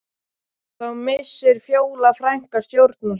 Þá missir Fjóla frænka stjórn á sér